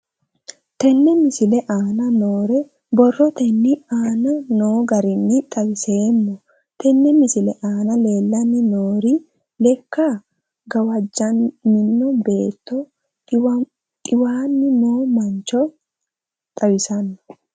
Tenne misile aana noore borrotenni aane noo garinni xawiseemo. Tenne misile aana leelanni nooerri lekka gawajjaminno beeto xiwaanni noo mancho xawissanno.